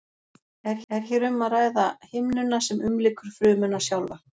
er hér um að ræða himnuna sem umlykur frumuna sjálfa